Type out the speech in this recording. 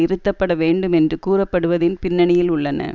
இருத்தப்பட வேண்டும் என்று கூறுப்படுவதின் பின்னணியில் உள்ளன